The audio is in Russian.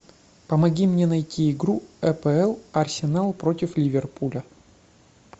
помоги мне найти игру апл арсенал против ливерпуля